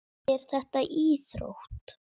En er þetta íþrótt?